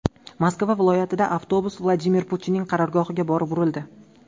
Moskva viloyatida avtobus Vladimir Putinning qarorgohiga borib urildi.